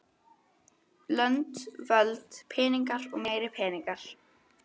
Lönd, völd, peningar og meiri peningar.